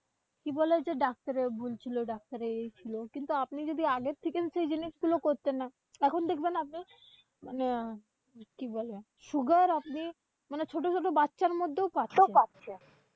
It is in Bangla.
কি বলে? যে doctor এর ভুল ছিল। doctor এই ছিল। কিন্তু আপনি যদি আগের থেকেই সেই জিনিস গুলো করতেন না, এখন দেখবেন আপনি মানে কি বলে? sugar আপনি মানে ছোট-ছোট বাচ্ছার মধ্যেও পাচ্ছেন।